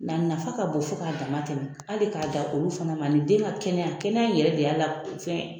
A nafa ka bɔ fo ka dama tɛmɛ . Hali ka dan olu fana ma , ani den ka kɛnɛya. Kɛnɛya yɛrɛ de y'a la fɛn ye.